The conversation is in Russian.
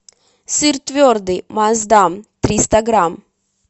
сыр твердый маздам триста грамм